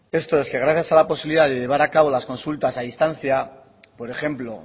esto es gracias a la posibilidad de llevar a cabo las consultas a distancia por ejemplo